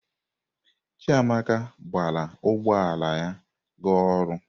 Chiamaka gbara ụgbọ ala ya ga ọrụ.